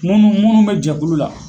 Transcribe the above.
Munnu munnu bɛ jɛkulu la.